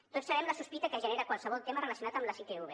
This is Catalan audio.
tots sabem la sospita que genera qualsevol tema relacionat amb les itv